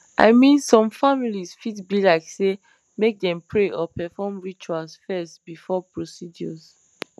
i mean some families fit be like sey make dem pray or perform rituals fess before procedures